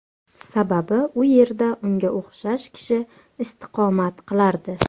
Sababi u yerda unga o‘xshash kishi istiqomat qilardi.